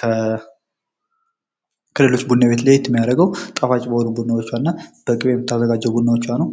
ከክልሎች ቡና ቤት ለየት የሚያደርገው ጣፍጭ በሆኑ ቡናዎቿ እና በቅቤ በምታዘጋጀው ቡናዎቿ ነው።